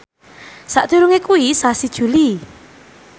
sakdurunge kuwi sasi Juli